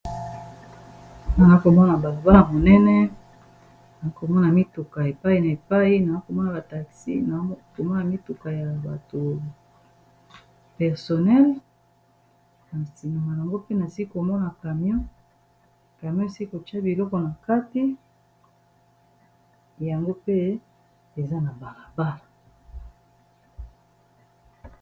Nakomona ba voie monene, nakomona mituka epai na epai, nakomona ba taxi, nakomona mituka ya bato personel, na sima yango mpe na komona camion esilisi kotia biloko na kati, yango pe eza na balabala.